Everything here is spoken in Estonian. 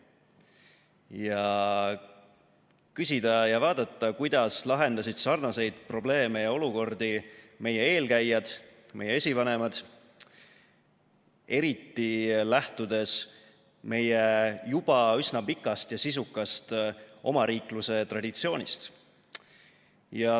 Ja küsida ja vaadata, kuidas lahendasid sarnaseid probleeme ja olukordi meie eelkäijad, meie esivanemad, eriti lähtudes meie juba üsna pikast ja sisukast omariikluse traditsioonist.